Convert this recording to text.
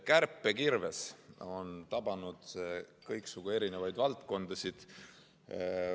Kärpekirves on tabanud kõiksugu erinevaid valdkondasid.